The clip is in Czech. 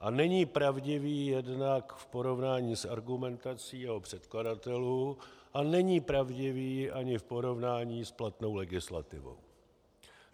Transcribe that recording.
A není pravdivý jednak v porovnání s argumentací jeho předkladatelů a není pravdivý ani v porovnání s platnou legislativou.